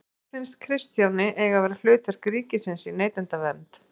Hvert finnst Kristjáni eiga að vera hlutverk ríkisins í neytendavernd?